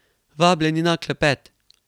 Vabljeni na klepet!